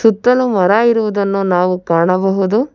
ಸುತ್ತಲೂ ಮರ ಇರುವುದನ್ನು ನಾವು ಕಾಣಬಹುದು.